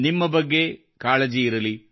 ನಿಮ್ಮ ಬಗ್ಗೆ ಕಾಳಜಿ ಇರಲಿ